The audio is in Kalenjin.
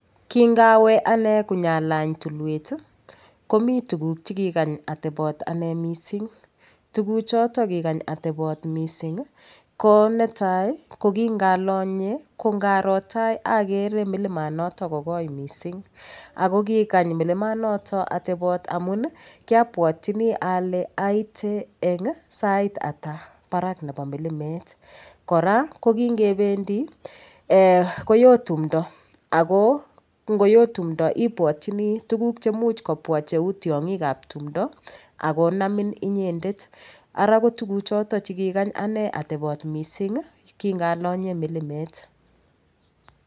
Kingawe anee konyalany tulwet komi tukuk chekikany ateboot ane mising' tukuchoto kikany ateboot mising' ko netai kokingalonye kongaro tai agree milimanoto kokoii mising' ako kokany milimanoto ateboot amun kiabwotyini ale aite eng' saitata barak nebo milimet kora ko kingebendi koyoo tumdo ako ngoyoo tumso ibwotchini tuguk chemuch kobwa cheu tiong'ikab tumdo akonamin inyendet ara ko tukuchoto chikikanya ane ateoott mising' kingalonye milimet